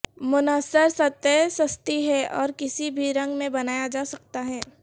منحصر سطحیں سستی ہیں اور کسی بھی رنگ میں بنایا جا سکتا ہے